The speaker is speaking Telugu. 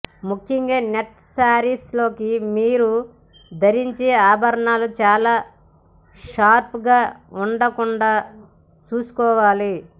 ముఖ్యంగా నెట్ శారీలోకి మీరు ధరించే ఆభరణాలు చాలా షార్ప్ గా ఉండకుండా చూసుకోవాలి